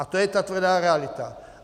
A to je ta tvrdá realita.